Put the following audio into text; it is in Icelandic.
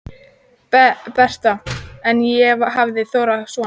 Betra en ég hafði þorað að vona